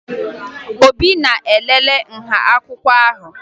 Obi na-elele nha akwụkwọ ahụ